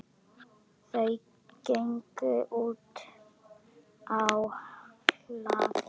Þau gengu útá hlað.